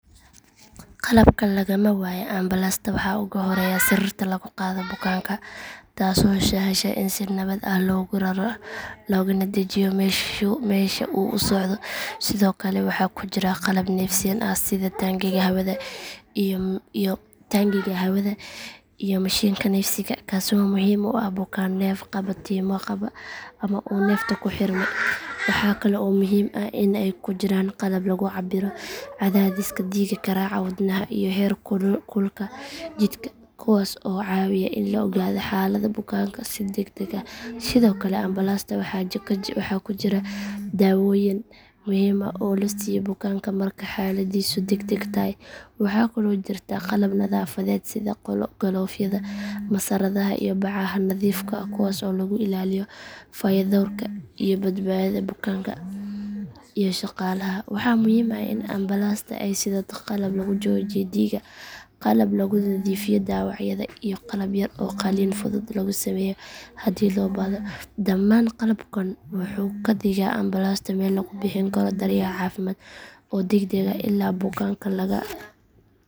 Qalabka lagama waayo ambalaasta waxaa ugu horreeya sariirta lagu qaado bukaanka taasoo sahasha in si nabad ah loogu raro loogana dejiyo meesha uu u socdo sidoo kale waxaa ku jira qalab neefsiin ah sida taangiga hawada iyo mashiinka neefsiga kaasoo muhiim u ah bukaan neef qabatimo qaba ama uu neefta ku xirmay waxaa kale oo muhiim ah in ay ku jiraan qalab lagu cabbiro cadaadiska dhiigga garaaca wadnaha iyo heer kulka jidhka kuwaas oo caawiya in la ogaado xaaladda bukaanka si degdeg ah sidoo kale ambalaasta waxaa ku jira dawooyin muhiim ah oo la siiyo bukaanka marka xaaladdiisu degdeg tahay waxaa kaloo jirta qalab nadaafadeed sida galoofyada masaradaha iyo bacaha nadiifka ah kuwaas oo lagu ilaaliyo fayadhowrka iyo badbaadada bukaanka iyo shaqaalaha waxaa muhiim ah in ambalaasta ay sidato qalab lagu joojiyo dhiigga qalab lagu nadiifiyo dhaawacyada iyo qalab yar oo qalliin fudud lagu sameeyo haddii loo baahdo dhammaan qalabkan wuxuu ka dhigaa ambalaasta meel lagu bixin karo daryeel caafimaad oo degdeg ah ilaa bukaanka laga gaarsiiyo isbitaalka ugu dhow